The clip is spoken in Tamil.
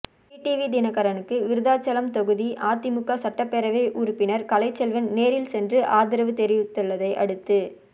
டிடிவி தினகரனுக்கு விருத்தாசலம் தொகுதி அதிமுக சட்டப்பேரவை உறுப்பினர் கலைச்செல்வன் நேரில் சென்று ஆதரவு தெரிவித்துள்ளதை அடுத்து